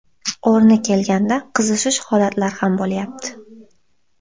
O‘rni kelganda qizishish holatlari ham bo‘lyapti.